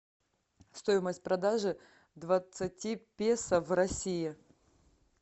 стоимость продажи двадцати песо в россии